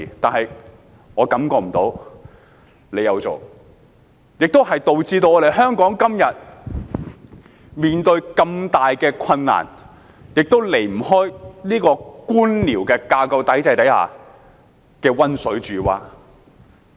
可是，我感覺不到政府有這樣做，導致香港今天面對如此大的困難，其原因亦離不開官僚架構體制之下的溫水煮蛙。